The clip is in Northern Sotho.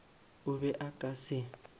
o be o ka se